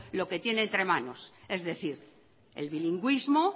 lo que tiene entre manos es decir el bilingüismo